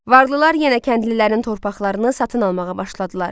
Varlılar yenə kəndlilərin torpaqlarını satın almağa başladılar.